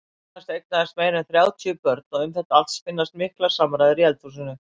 Jónas eignaðist meira en þrjátíu börn og um þetta allt spinnast miklar samræður í eldhúsinu.